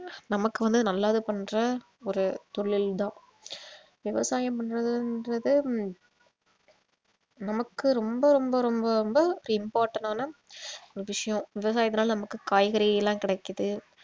நமக்கு வந்து நல்லது பண்ற ஒரு தொழில் தான் விவசாயம் பண்றதுன்றது நமக்கு ரொம்ப ரொம்ப ரொம்ப ரொம்ப ஒரு important னான விஷயம் விவசாயத்துனால நமக்கு காய்கறியெல்லாம் கிடைக்குது